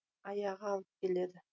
аяғы алып келеді